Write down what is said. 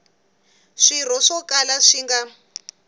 swirho swo kala swi nga